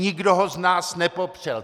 Nikdo z nás ho nepopřel.